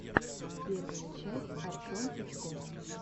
первая часть артем пучков